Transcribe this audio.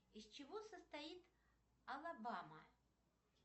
из чего состоит алабама